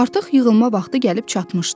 Artıq yığılma vaxtı gəlib çatmışdı.